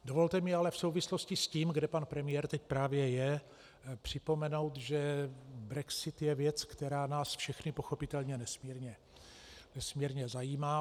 Dovolte mi ale v souvislosti s tím, kde pan premiér teď právě je, připomenout, že brexit je věc, která nás všechny pochopitelně nesmírně zajímá.